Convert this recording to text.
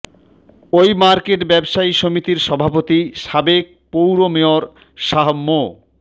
ওই মার্কেট ব্যবসায়ী সমিতির সভাপতি সাবেক পৌর মেয়র শাহ মো